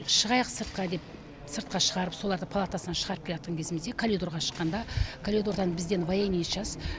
шығайық сыртқа деп сыртқа шығарып соларды палатасынан шығарып келатқан кезімізде калидорға шыққанда калидордан бізден военный часть